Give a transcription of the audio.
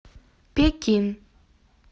пекин